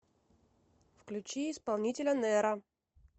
включи исполнителя неро